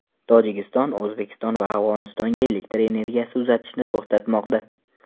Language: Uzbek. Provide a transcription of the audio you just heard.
Tojikiston O‘zbekiston va Afg‘onistonga elektr energiyasi uzatishni to‘xtatmoqda.